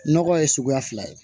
Nɔgɔ ye suguya fila ye